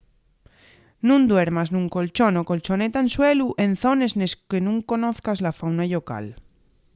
nun duermas nun colchón o colchoneta en suelu en zones nes que nun conozas la fauna llocal